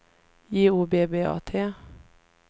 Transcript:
J O B B A T